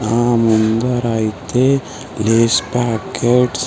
ఆ మందరైతే Lay's packets .